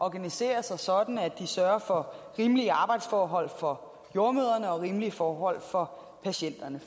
at organisere sig sådan at de sørger for rimelige arbejdsforhold for jordemødrene og rimelige forhold for patienterne